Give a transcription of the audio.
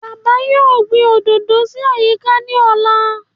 Bàbá yóò gbìn òdòdó sí àyíká ní ọ̀la